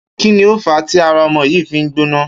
Kí ni ó fàá tí ara o̩mo̩ yìí fi ń gbóná?